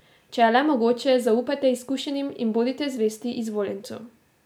Če je le mogoče zaupajte izkušenim in bodite zvesti izvoljencu.